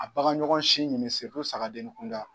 A baganɲɔgɔn si min sagadenin kunda.